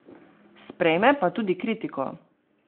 Sprejme pa tudi kritiko.